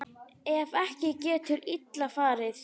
Ef ekki getur illa farið.